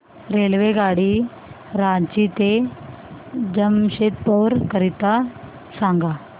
रेल्वेगाडी रांची ते जमशेदपूर करीता सांगा